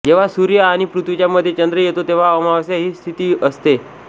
जेव्हा सूर्य आणि पृथ्वीच्या मध्ये चंद्र येतो तेव्हा अमावस्या ही तिथी असते